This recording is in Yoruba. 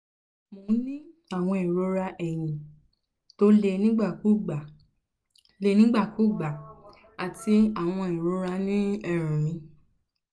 mo ń ní ìrora eyín tó le nígbàkúùgbà le nígbàkúùgbà àti àwọn ìrora ní eérún mi